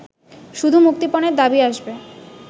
শুধু মুক্তিপণের দাবি আসবে